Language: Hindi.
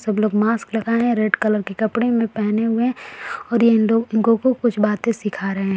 सब लोग मास्क लगाए है। रेड कलर के कपड़े मे पहने हुए है और ये लोग इनको-को कुछ बातें सिखा रहे है।